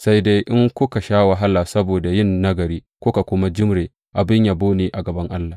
Sai dai in kuka sha wahala saboda yin nagari kuka kuma jimre, abin yabo ne a gaban Allah.